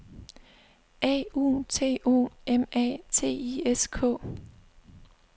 A U T O M A T I S K